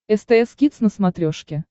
стс кидс на смотрешке